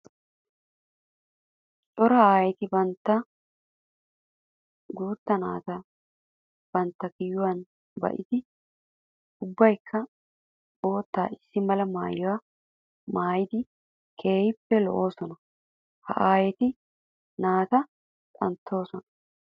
Cora aayetti bantta guuta naata bantta kiyuwan ba'iddi ubbaykka bootta issi mala maayuwa maayiddi keehippe lo'ossonna. Ha aayetti naata xanttosonna.